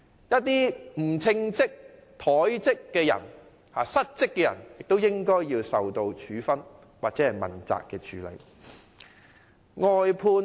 一些不稱職、怠職、失職的人，亦應受到處分或被問責。